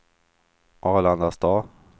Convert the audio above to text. Arlandastad